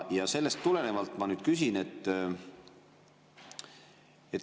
Sellest tulenevalt ma nüüd küsin.